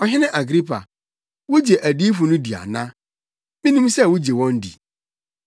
Ɔhene Agripa, wugye adiyifo no di ana? Minim sɛ wugye wɔn di.”